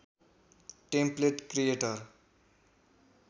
template creator